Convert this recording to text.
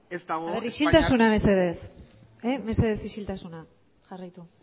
ez dago isiltasuna mesedez mesedez isiltasuna jarraitu